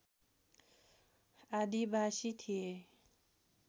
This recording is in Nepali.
आदिवासी थिए